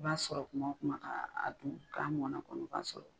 I b'a sɔrɔ kuma kuma ka dun ka mɔna kɔni o b'a sɔrɔ